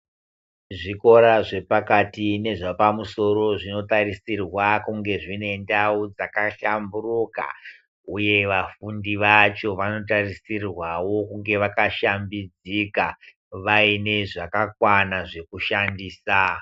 Zvikora zvepakati nezvepamusoro zvinotarisirwa kunge zvine ndau dzakahlamburuka uye vafundi vacho vanotarisirwawo kunge vakashambidzika vaine zvakakwana zvekushandisa.